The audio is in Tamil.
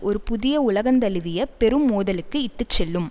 ஒரு புதிய உலகந்தழுவிய பெரும் மோதலுக்கு இட்டு செல்லும்